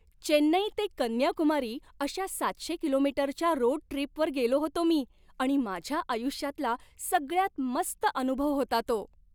चेन्नई ते कन्याकुमारी अशा सातशे कि.मी.च्या रोड ट्रिपवर गेलो होतो मी आणि माझ्या आयुष्यातला सगळ्यात मस्त अनुभव होता तो.